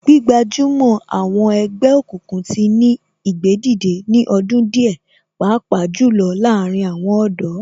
Gbígbajúmọ̀ àwọn ẹgbẹ́ òkùnkùn tí ní ìgbédìde ní ọdún díẹ̀ pàápàá jù lọ láàárín àwọn ọ̀dọ́